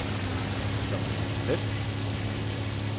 Skal man ramme plet, må man øve sig.